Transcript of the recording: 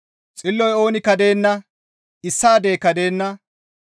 «Xilloy oonikka deenna; issaadeyka deenna.